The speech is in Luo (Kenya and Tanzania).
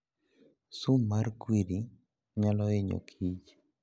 Sum mar Kwiri nyalo hinyo Kich.